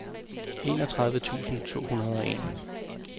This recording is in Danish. enogtredive tusind to hundrede og en